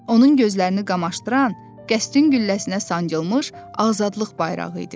Onun gözlərini qamaşdıran qəsrin gülləsinə sancılmış azadlıq bayrağı idi.